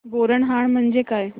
बोरनहाण म्हणजे काय